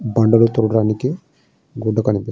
బండలు తుడవడానికి గుడ్డ కనిపిస్తుంది.